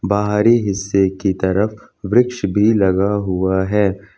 बाहरी हिस्से की तरफ वृक्ष भी लगा हुआ है।